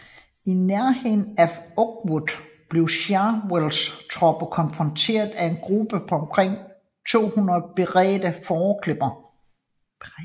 I nærheden af Oakwood blev Chauvels tropper konfronteret af en gruppe på omkring 200 beredne fåreklippere